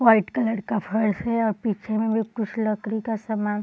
white colour का फर्श है और पीछे में कुछ लकड़ी का सामान --